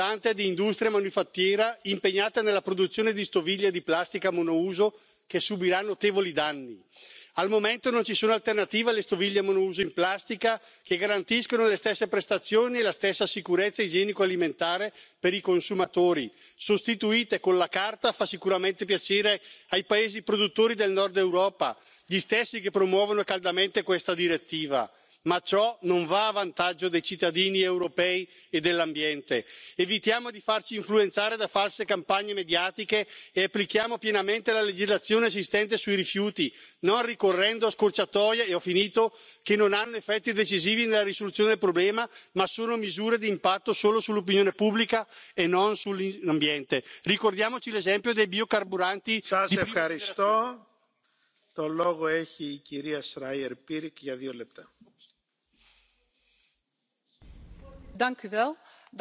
de chips dans des poubelles recyclables, et il faut arrêter la culpabilisation des consommateurs dictée par l'industrie et les lobbies de l'emballage plastique. Arrêtez avec cette logique néo libérale, que nous connaissons trop bien en France et qui consiste à dire que la pollution, c'est la faute du consommateur, la crise financière, c'est la faute des ménages et le chômage, c'est la faute des chômeurs. L'Union européenne doit prendre ses responsabilités et s'attaquer aux vrais pollueurs de la planète les géants de l'industrie. Croyez vous vraiment qu'une entreprise comme Coca Cola n'a pas les moyens de changer le modèle économique pour produire moins de plastique? Nous devons de toute urgence engager un plan Marshall pour les océans, sur la base du principe pollueur payeur, réglementer de façon stricte et non négociable la production, l'utilisation, la vente, l'importation et le recyclage des produits plastiques.